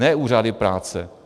Ne úřady práce.